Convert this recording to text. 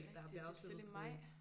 Det er rigtig det er selvfølgelig maj